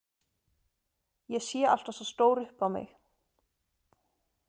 Ég sé alltaf svo stór upp á mig.